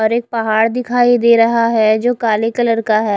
और एक पहाड़ दिखाई दे रहा है जो काले कलर का है।